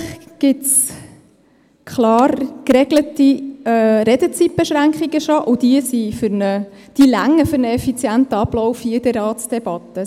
Schliesslich gibt es bereits klar geregelte Redezeitbeschränkungen, und diese reichen für einen effizienten Ablauf der Ratsdebatten hier.